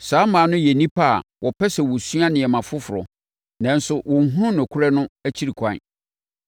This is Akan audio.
saa mmaa no yɛ nnipa a wɔpɛ sɛ wɔsua nneɛma foforɔ, nanso wɔnhunu nokorɛ no akyiri kwan.